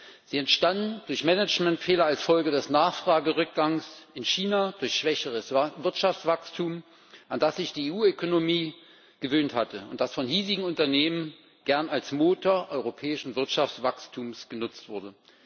Die Probleme entstanden durch Managementfehler als Folge des Nachfragerückgangs in China, durch schwächeres Wirtschaftswachstum, an das sich die EU Ökonomie gewöhnt hatte und das von hiesigen Unternehmen gern als Motor europäischen Wirtschaftswachstums genutzt wurde.